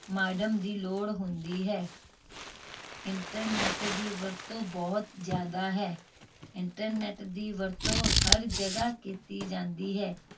modem ਦੀ ਲੋੜ ਹੁੰਦੀ ਹੈ internet ਦੀ ਵਰਤੋਂ ਬਹੁਤ ਜਿਆਦਾ ਹੈ internet ਦੀ ਵਰਤੋਂ ਹਰ ਜਗਾਹ ਕੀਤੀ ਜਾਂਦੀ ਹੈ